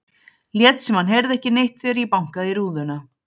Lét sem hann heyrði ekki neitt þegar ég bankaði í rúðuna.